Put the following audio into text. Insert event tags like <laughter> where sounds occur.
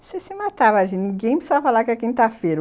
Se se matava <unintelligible> ninguém, precisava falar que é quinta-feira.